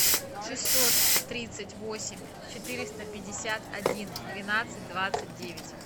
шестьсот тридцать восемь четыреста пятьдесят один двенадцать двадцать девять